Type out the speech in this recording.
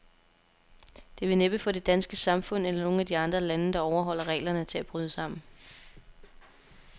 Det vil næppe få det danske samfund, eller nogen af de andre lande, der overholder reglerne, til at bryde sammen.